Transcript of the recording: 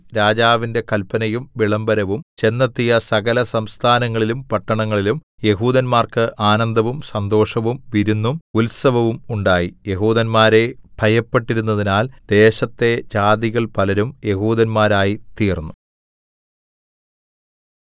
രാജാവിന്റെ കല്പനയും വിളംബരവും ചെന്നെത്തിയ സകലസംസ്ഥാനങ്ങളിലും പട്ടണങ്ങളിലും യെഹൂദന്മാർക്ക് ആനന്ദവും സന്തോഷവും വിരുന്നും ഉത്സവവും ഉണ്ടായി യെഹൂദന്മാരെ ഭയപ്പെട്ടിരുന്നതിനാൽ ദേശത്തെ ജാതികൾ പലരും യെഹൂദന്മാരായിത്തീർന്നു